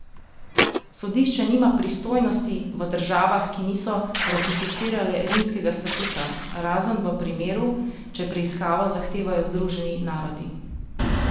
Sodišče nima pristojnosti v državah, ki niso ratificirale rimskega statuta, razen v primeru, če preiskavo zahtevajo Združeni narodi.